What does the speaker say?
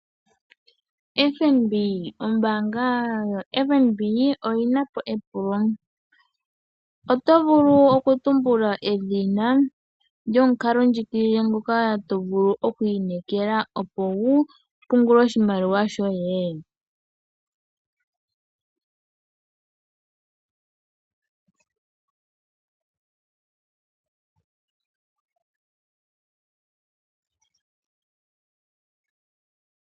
FNB ombaanga yo FNB oyinapo epulo, otovulu okutumbulu edhina lyomukalo ndjigilile ngoka tovulu oku inekela opo wu pungule oshimaliwa shoye?